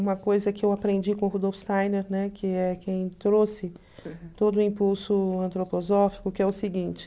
Uma coisa que eu aprendi com o Rudolf Steiner, né, que é quem trouxe todo o impulso antroposófico, que é o seguinte.